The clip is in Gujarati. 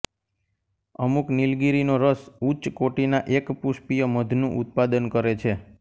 અમુક નીલગિરીનો રસ ઉચ્ચ કોટિના એકપુષ્પીય મધનું ઉત્પાદન કરે છે